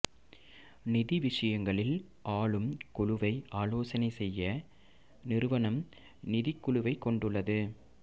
நிதிய விஷயங்களில் ஆளும் குழுவை ஆலோசனை செய்ய நிறுவனம் நிதிக் குழுவைக் கொண்டுள்ளது